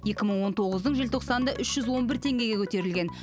екі мың он тоғыздың желтоқсанында үш жүз он бір теңгеге көтерілген